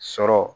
Sɔrɔ